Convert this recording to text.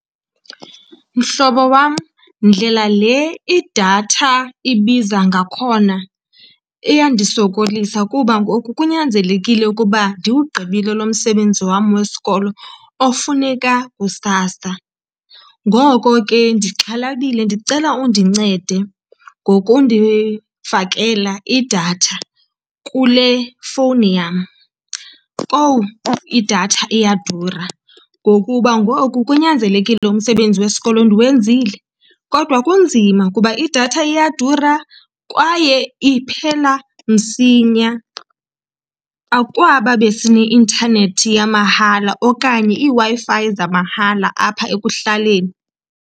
Mhlobo wam, ndlela le idatha ibiza ngakhona iyandisokolisa kuba ngoku kunyanzelekile ukuba ndiwugqibile lo msebenzi wam wesikolo ofuneka kusasa. Ngoko ke ndixhalabile, ndicela undincede ngokundifakela idatha kule fowuni yam. Kowu! Idatha iyadura ngokuba ngoku kunyanzelekile umsebenzi wesikolo ndiwenzile kodwa kunzima kuba idatha iyadura kwaye iphela msinya. Akwaba besineintanethi yamahala okanye iiWi-Fi zamahala apha ekuhlaleni.